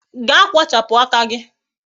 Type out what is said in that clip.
Gaa kpochapụ aka gị